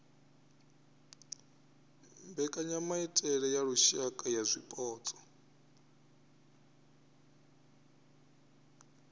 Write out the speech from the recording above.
mbekanyamaitele ya lushaka ya zwipotso